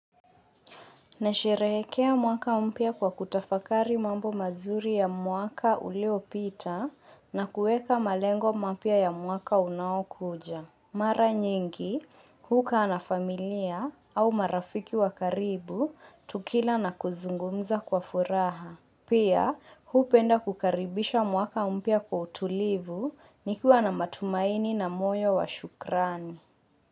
Nasherehrkea mwaka mpya kwa kutafakari mambo mazuri ya mwaka uliopita na kuweka malengo mapya ya mwaka unaokuja. Mara nyingi, hukaa na familia au marafiki wa karibu tukila na kuzungumza kwa furaha. Pia, hupenda kukaribisha mwaka mpya kwa utulivu nikiwa na matumaini na moyo wa shukrani.